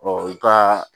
u ka